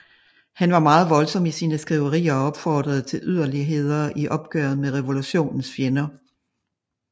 Han var meget voldsom i sine skriverier og opfordrede til yderligheder i opgøret med revolutionens fjender